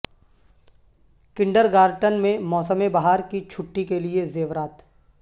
kindergarten میں موسم بہار کی چھٹی کے لئے زیورات